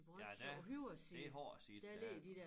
Ja det det har jeg set der er